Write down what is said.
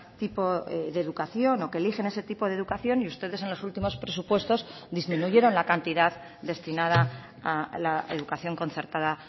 tipo de educación o que eligen ese tipo de educación y ustedes en los últimos presupuestos disminuyeron la cantidad destinada a la educación concertada